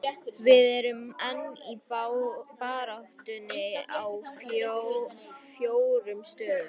Við erum enn í baráttunni á fjórum stöðum.